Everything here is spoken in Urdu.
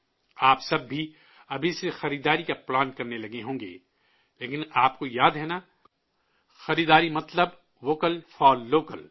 آپ سب بھی ابھی سے خریداری کا پلان کرنے لگے ہوں گے، لیکن آپ کو یاد ہے نہ، خریداری مطلب 'ووکل فار لوکل'